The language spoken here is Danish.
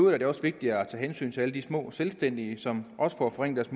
er det også vigtigt at tage hensyn til alle de små selvstændige erhvervsdrivende som også får forringet